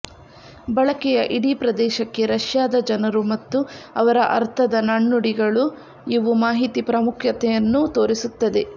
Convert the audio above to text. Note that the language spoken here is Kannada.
ಬಳಕೆಯ ಇಡೀ ಪ್ರದೇಶಕ್ಕೆ ರಷ್ಯಾದ ಜನರು ಮತ್ತು ಅವರ ಅರ್ಥದ ನಾಣ್ಣುಡಿಗಳು ಇವು ಮಾಹಿತಿ ಪ್ರಾಮುಖ್ಯತೆಯನ್ನು ತೋರಿಸುತ್ತದೆ